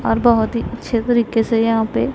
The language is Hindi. और बहोत ही अच्छे तरीके से यहां पे--